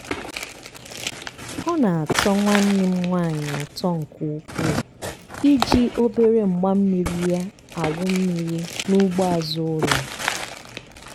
ọ na-atọ nwanne m nwaanyị ụtọ nke ukwuu i ji obere mgbammiri ya awụ mmiri n'ugbo azụ ụlọ.